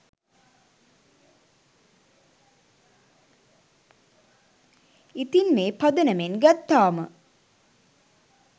ඉතිං මේ පදනමෙන් ගත්තාම